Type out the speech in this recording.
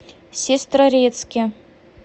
сестрорецке